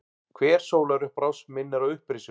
Hver sólarupprás minnir á upprisuna.